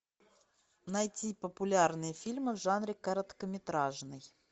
найти популярные фильмы в жанре короткометражный